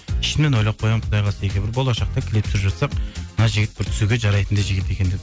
ішімнен ойлап қоямын құдай қаласа егер бір болашақта клип түсіріп жатсақ мына жігіт бір түсуге жарайтындай жігіт екен деп